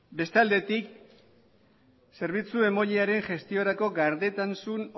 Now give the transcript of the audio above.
bestaldetik zerbitzu emailearen gestiorako gardentasun